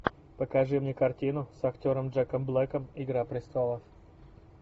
покажи мне картину с актером джеком блэком игра престолов